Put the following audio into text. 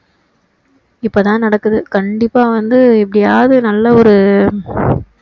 இப்போதான் நடக்குது கண்டிப்பா வந்து எப்படியாவது நல்ல ஒரு